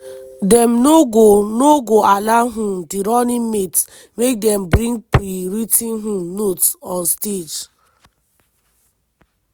dem no go no go allow um di running mates make dem bring pre-writ ten um notes on stage.